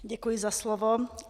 Děkuji za slovo.